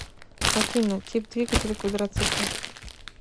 афина тип двигателя квадроцикл